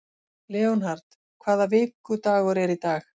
Leonhard, hvaða vikudagur er í dag?